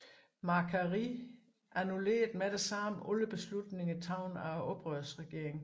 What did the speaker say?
Macquarie annullerede med det samme alle beslutninger taget af oprørsregeringen